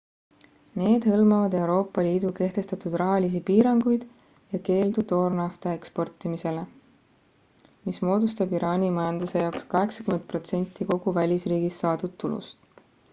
need hõlmavad euroopa liidu kehtestatud rahalisi piiranguid ja keeldu toornafta eksportimisele mis moodustab iraani majanduse jaoks 80% kogu välisriigist saadud tulust